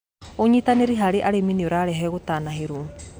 Ũnyĩtanĩrĩ harĩ arĩmĩ nĩũrarehe gũtanahĩrwo